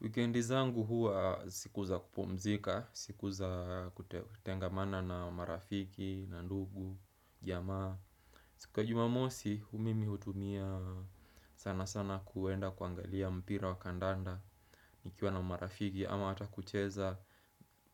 Wikendi zangu huwa siku za kupumzika, siku za kutengamana na marafiki, na ndugu, jamaa. Siku ya jumamosi, mimi hutumia sana sana kuenda kuangalia mpira wa kandanda, nikiwa na marafiki ama hata kucheza